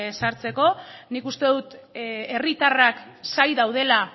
sartzeko nik uste dut herritarrak zain daudela